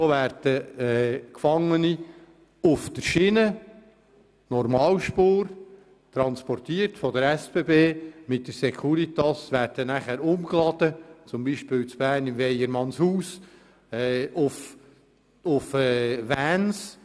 Da werden Gefangene auf der Schiene durch die SBB mit den Securitas transportiert und anschliessend zum Beispiel in Bern beim Weiermannshaus auf Vans umgeladen.